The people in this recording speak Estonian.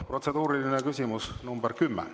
Protseduuriline küsimus nr 10.